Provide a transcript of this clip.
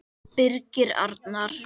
Birgir Arnar.